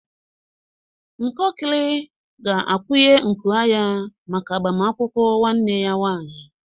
Nkokli ga-akwunye nku anya maka agbamakwụkwọ nwanne ya nwanyị